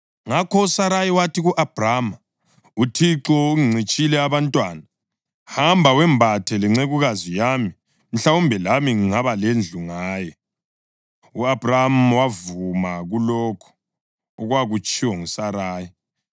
ngakho uSarayi wathi ku-Abhrama, “ UThixo ungincitshile abantwana. Hamba, wembathe lencekukazi yami; mhlawumbe lami ngingaba lendlu ngaye.” U-Abhrama wavuma kulokho okwakutshiwo nguSarayi.